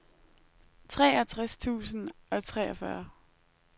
treogtres tusind og treogfyrre